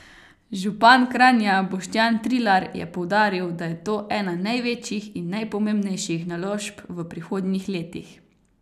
Župan Kranja Boštjan Trilar je poudaril, da je to ena največjih in najpomembnejših naložb v prihodnjih letih.